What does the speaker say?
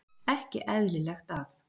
Ekki eðlilegt að-